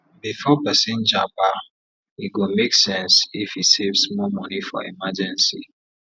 before persin japa e go make sense if e save small moni for emergency